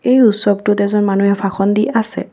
এই উৎসৱটোত এজন মানুহে ভাষণ দি আছে।